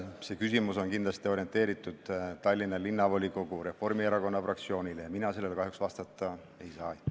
See küsimus on kindlasti mõeldud Tallinna Linnavolikogu Reformierakonna fraktsioonile ja mina sellele kahjuks vastata ei saa.